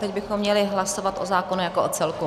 Teď bychom měli hlasovat o zákonu jako o celku.